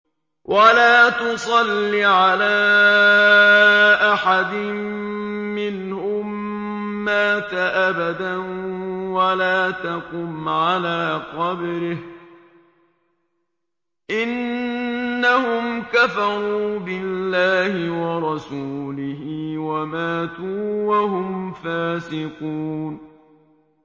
وَلَا تُصَلِّ عَلَىٰ أَحَدٍ مِّنْهُم مَّاتَ أَبَدًا وَلَا تَقُمْ عَلَىٰ قَبْرِهِ ۖ إِنَّهُمْ كَفَرُوا بِاللَّهِ وَرَسُولِهِ وَمَاتُوا وَهُمْ فَاسِقُونَ